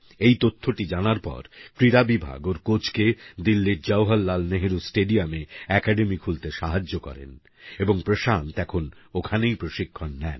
এই তথ্যটি জানার পর ক্রীড়া বিভাগ ওর কোচকে দিল্লির জহরলাল নেহরু স্টেডিয়ামে একাডেমি খুলতে সাহায্য করেন এবং প্রশান্ত এখন ওখানেই প্রশিক্ষণ নেন